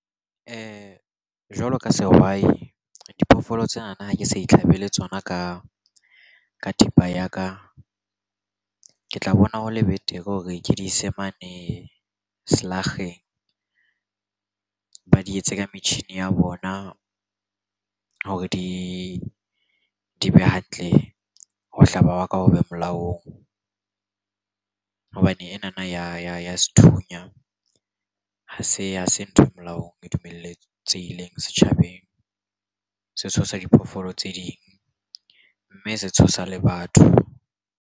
Jwalo ka sehwai, diphoofolo tsenana ha ke sa itlhabela tsona ka thipa ya ka. Ke tla bona ho le betere hore ke di ise mane selakgeng, ba di etse ka metjhini ya bona hore di be hantle. Ho hlaba wa ka ho be molaong hobane enana ya sethunya ha se ntho e molaong, e dumeletsehileng setjhabeng. Se tshosa diphoofolo tse ding, mme se tshosa le batho.